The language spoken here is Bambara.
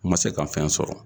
N man se kan fɛn sɔrɔ.